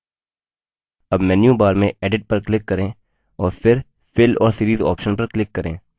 अब menu bar में edit पर click करें और फिर fill और series option पर click करें